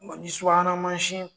Bɔn ni subahana mansin